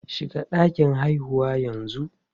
Shiga ɗakin haihuwar yanzu!